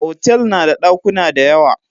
Hotel nada dakuna dayawa